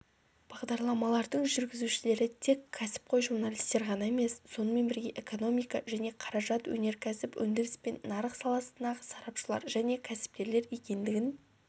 бағдарламалардың жүргізушілері тек кәсіпқой журналистер ғана емес сонымен бірге экономика және қаражат өнеркәсіп өндіріс пен нарық саласындағы сарапшылар және кәсіпкерлер екендігін